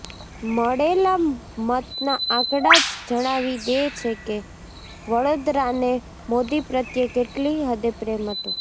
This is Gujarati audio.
મળેલા મતના આંકડા જ જણાવી દે છેકે વડોદરાને મોદી પ્રત્યે કેટલી હદે પ્રેમ હતો